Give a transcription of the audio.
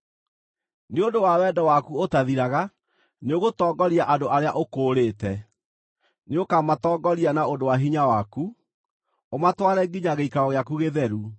“Nĩ ũndũ wa wendo waku ũtathiraga, nĩũgũtongoria andũ arĩa ũkũũrĩte. Nĩũkamatongoria na ũndũ wa hinya waku, ũmatware nginya gĩikaro gĩaku gĩtheru.